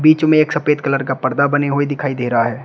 बीच में एक सफेद कलर का पर्दा बने हुए दिखाई दे रहा है।